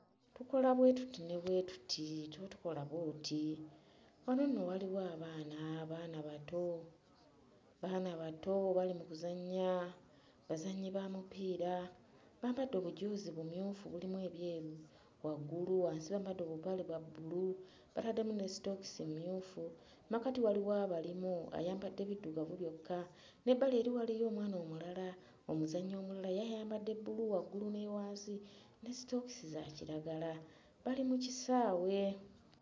Tukola bwe tuti ne bwe tuti, tuba tukola bw'oti. Wano nno waliwo abaana, baana bato baana bato bali mu kuzannya, bazannyi ba mupiira, bambadde obujoozi bumyufu mulimu ebyeru waggulu, wansi bambadde obupale bwa bbulu bataddemu ne sitookisi mmyufu, mmakati waliwo abalimu ayambadde biddugavu byokka n'ebbali eri waliyo omwana omulala omuzannyi omulala ye ayambadde bbulu waggulu ne wansi ne sitookisi za kiragala bali mu kisaawe.